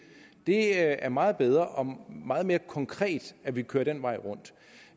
det er meget bedre og meget mere konkret at vi går den vej rundt